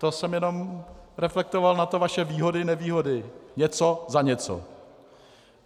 To jsem jenom reflektoval na to vaše výhody-nevýhody, něco za něco.